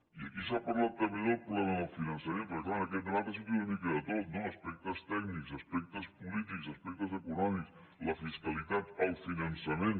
i aquí s’ha parlat també del problema del finançament perquè clar en aquest debat ha sortit una mica de tot no aspectes tècnics aspectes polítics aspectes econòmics la fiscalitat el finançament